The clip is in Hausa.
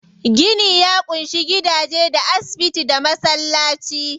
Gini ya ƙunshi gidaje, da asibiti, da masallaci.